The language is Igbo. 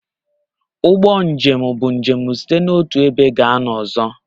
Ụgbọ njem bụ njem site n'otu ebe gaa n'ọzọ.